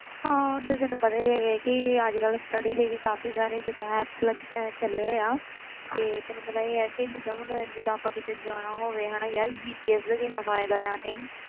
ਹਾਂ ਓਦਾਂ ਤੈਨੂੰ ਪਤਾ ਹੀ ਹੈਗਾ ਕਿ ਅੱਜ ਕੱਲ੍ਹ study ਲਈ ਕਾਫ਼ੀ ਸਾਰੇ ਜਿੱਦਾਂ app ਲੱਗ~ ਅਹ ਚੱਲੇ ਹੋਏ ਆ ਤੇ ਤੈਨੂੰ ਪਤਾ ਹੀ ਹੈ ਕਿ ਜਿੱਦਾਂ ਹੁਣ ਜਿੱਦਾਂ ਆਪਾਂ ਕਿਤੇ ਜਾਣਾ ਹੋਵੇ ਹਨਾ ਯਾਰ GPS ਦਾ ਕਿੰਨਾ ਫ਼ਾਇਦਾ ਆ ਨਹੀਂ,